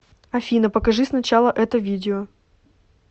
афина покажи сначала это видео